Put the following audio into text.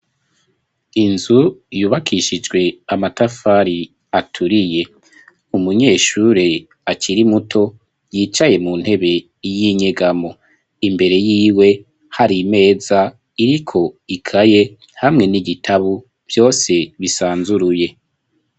Inzu, yubakishijwe amatafari, aturiye; umunyeshure akiri muto, yicaye mu ntebe, y'inyegamo; imbere yiwe, hari imeza, iriko ikaye, hamwe n'igitabo, vyose bisanzuruye.